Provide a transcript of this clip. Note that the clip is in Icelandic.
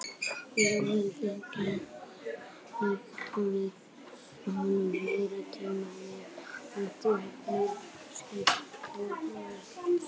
Ég vildi geta gefið honum meiri tíma, meiri athygli, meiri skilning og meiri ást.